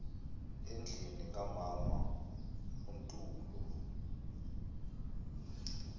endlini kamama untulo